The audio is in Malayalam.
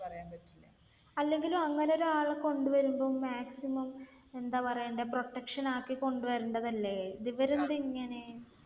അല്ലെങ്കിലും അങ്ങനെ ഒരാളെ കൊണ്ട് വരുമ്പോൾ maximum എന്താ പറയണ്ടേ protection ആക്കി കൊണ്ട് വരണ്ടതല്ലേ? ദ് ഇവർ എന്താ ഇങ്ങനെ?